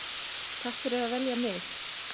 Takk fyrir að velja mig.